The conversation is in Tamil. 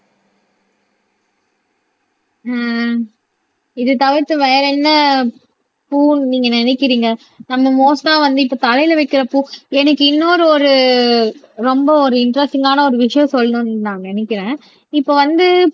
உம் இது தவிர்த்து வேற என்ன பூன்னு நீங்க நினைக்கிறீங்க நம்ம மோஸ்ட்டா வந்து இப்ப தலையில வைக்கிற பூ எனக்கு இன்னொரு ஒரு ரொம்ப ஒரு இன்டெரெஸ்ட்டிங்கான ஒரு விஷயம் சொல்லணும்ன்னு நான் நினைக்கிறேன் இப்ப வந்து